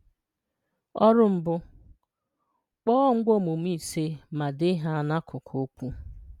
– Ọrụ 1: Kpọọ ngwaaomume 5 ma dee ha n’akụkụ okwu.